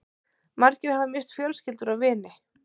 Margir hafa misst fjölskyldur og vini